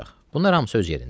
Bunlar hamısı öz yerində.